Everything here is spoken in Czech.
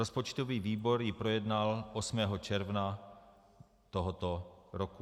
Rozpočtový výbor ji projednal 8. června tohoto roku.